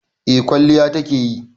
Eh kwalliya ta ke yi.